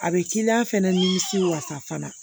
A bɛ k'i la fɛnɛ nimisi wasa fana